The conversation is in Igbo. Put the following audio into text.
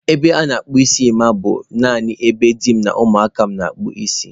Ebe a na-akpụ isi Emma bụ nanị ebe di m na ụmụaka m na-akpụ isi ha.